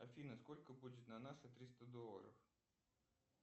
афина сколько будет на наши триста долларов